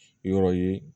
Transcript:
Yɔrɔ ye